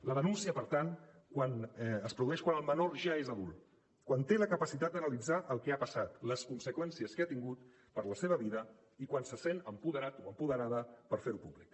la denúncia per tant es produeix quan el menor ja és adult quan té la capacitat d’analitzar el que ha passat les conseqüències que ha tingut per la seva vida i quan se sent apoderat o apoderada per fer ho públic